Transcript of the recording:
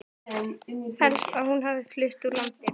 Held helst að hún hafi flutt úr landi.